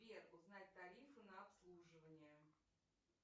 сбер узнать тарифы на обслуживание